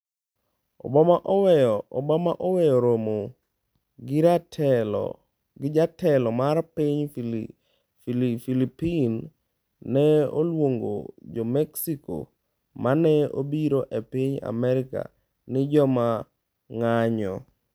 Obama oweyo romo gi jatelo mar piny Philippines. Ne oluongo jo Mexico ma ne obiro e piny Amerka ni “joma ng’anjo.”